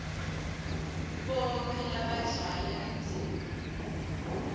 bonkhe labadlala indzima